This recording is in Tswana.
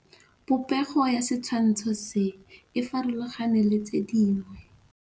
Popêgo ya setshwantshô se, e farologane le tse dingwe.